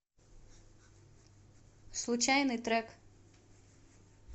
случайный трек